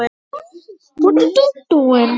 Hver eru fjöll þessi?